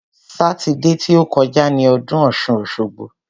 Sátidé ti ó kọjá ni ọdún ọ̀ṣun-òṣogbo.